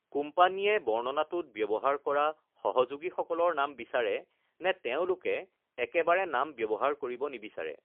কোম্পানীয়ে বৰ্ণনাটোত ব্যৱহাৰ কৰা সহযোগীসকলৰ নাম বিচাৰে নে তেওঁলোকে একেবাৰে নাম ব্যৱহাৰ কৰিব নিবিচাৰে?